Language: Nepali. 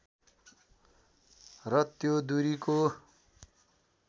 र त्यो दूरीको